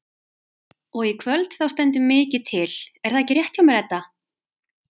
Og í kvöld þá stendur mikið til er það ekki rétt hjá mér Edda?